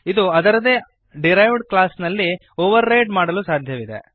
ಇದನ್ನು ಅದರದೇ derived class ನಲ್ಲಿ ಓವರ್ ರೈಡ್ ಮಾಡಲು ಸಾಧ್ಯವಿದೆ